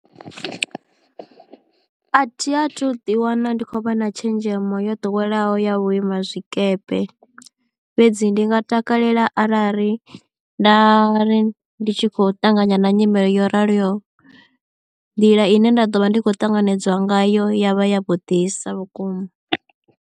A thi a thu ḓi wana ndi khou vha na tshenzhemo yo ḓoweleaho ya vhu ima zwikepe, fhedzi ndi nga takalela arali nda ri ndi tshi khou ṱanganya na nyimele yo raloho nḓila ine nda ḓo vha ndi khou ṱanganedzwa ngayo ya vha ya vhuḓisa vhukuma.